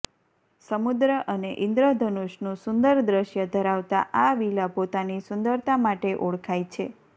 સમુદ્ર અને ઇન્દ્રધનુશનું સુંદર દૃશ્ય ધરાવતા આ વિલા પોતાની સુંદરતા માટે ઓળખાય છે